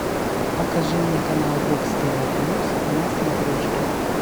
покажи мне канал бокс тв плюс на смотрешке